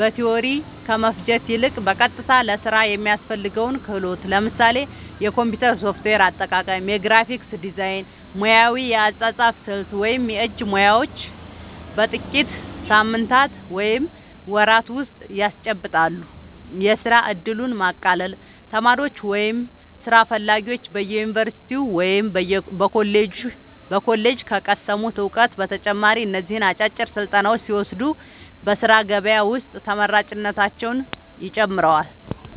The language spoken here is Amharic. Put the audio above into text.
በቲዎሪ ከመፍጀት ይልቅ፣ በቀጥታ ለሥራ የሚያስፈልገውን ክህሎት (ለምሳሌ የኮምፒውተር ሶፍትዌር አጠቃቀም፣ የግራፊክስ ዲዛይን፣ ሙያዊ የአጻጻፍ ስልት ወይም የእጅ ሙያዎች) በጥቂት ሳምንታት ወይም ወራት ውስጥ ያስጨብጣሉ። የሥራ ዕድልን ማቃለል : ተማሪዎች ወይም ሥራ ፈላጊዎች በዩኒቨርሲቲ ወይም በኮሌጅ ከቀሰሙት እውቀት በተጨማሪ እነዚህን አጫጭር ስልጠናዎች ሲወስዱ በሥራ ገበያ ውስጥ ተመራጭነታቸውን ይጨምረዋል።